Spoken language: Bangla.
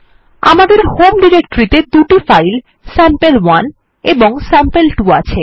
আমাদের হোম ডিরেক্টরিতে দুটো ফাইল স্যাম্পল1 এবং স্যাম্পল2 আছে